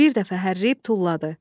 Bir dəfə hərləyib tulladı.